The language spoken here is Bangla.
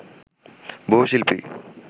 বহু শিল্পী